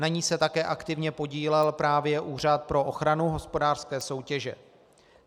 Na ní se také aktivně podílel právě Úřad pro ochranu hospodářské soutěže.